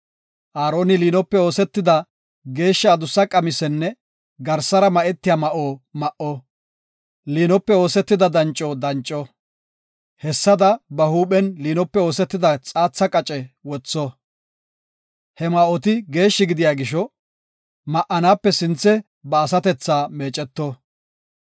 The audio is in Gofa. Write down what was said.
Aaroni liinope oosetida geeshsha adussa qamisenne garsara ma7etiya ma7o ma7o. Liinope oosetida danco danco; hessada ba huuphen liinope oosetida xaatha qace wotho. He ma7oti geeshshi gidiya gisho, ma7anape sinthe ba asatethaa meeceto.